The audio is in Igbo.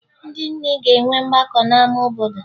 Ndị nne ga-enwe mgbakọ n'ama obodo